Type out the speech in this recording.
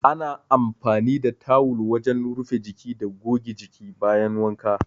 Ana amfani da tawul wajen rufe jiki da goge jiki bayan wanka.